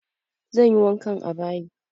Zan yi wankan a bayi.